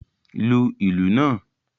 Lu ìlù naa!